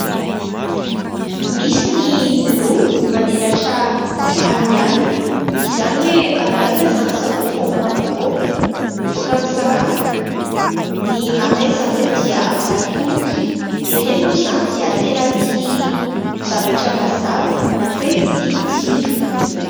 Misy ny lolo manelatra amin'ny alina : izany hoe amin'ny alina izany zareo vao mba mivoaka, mivoaka misakafo ny maraina zareo dia matory ireny moa izany dia tena tia zavatra mazava na koa hoe tia jiro.